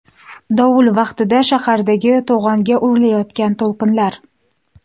Dovul vaqtida shahardagi to‘g‘onga urilayotgan to‘lqinlar.